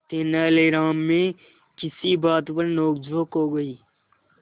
तेनालीराम में किसी बात पर नोकझोंक हो गई